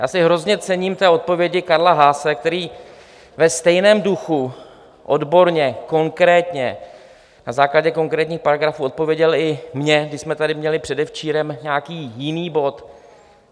Já si hrozně cením té odpovědi Karla Haase, který ve stejném duchu, odborně, konkrétně, na základě konkrétních paragrafů odpověděl i mně, když jsme tady měli předevčírem nějaký jiný bod.